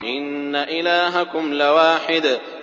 إِنَّ إِلَٰهَكُمْ لَوَاحِدٌ